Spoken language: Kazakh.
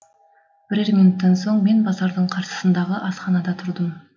бірер минуттан соң мен базардың қарсысындағы асханада тұрдым